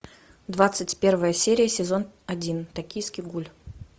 двадцать первая серия сезон один токийский гуль